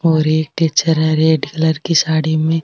और एक टीचर है रेड कलर की साड़ी में --